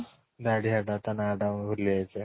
ଦାଢିଆ ଟା ତା ନାଁ ଟା ମୁଁ ଭୁଲି ଯାଇଛି